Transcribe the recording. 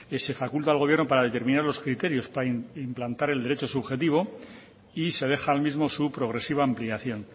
que se faculta al gobierno para determinar los criterios para implantar el derecho subjetivo y se deja al mismo su progresiva ampliación